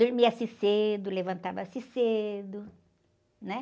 Dormia-se cedo, levantava-se cedo, né?